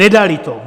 Nedali to.